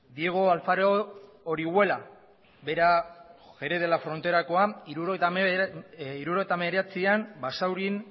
diego alfaro orihuela bera jerez de la fronterakoa hirurogeita hemeretzian basaurin